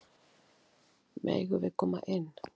Megum við koma inn?